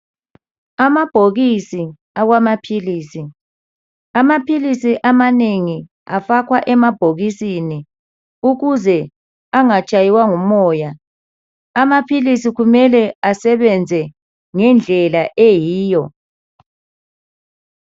Amabhokisi awamaphilisi amaphilisi amanengi afakwa emabhokisini ukuze engatshaywa ngumoya amaphilisi kumele asebenze ngendlela eyiyo